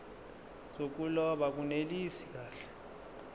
zokuloba akunelisi kahle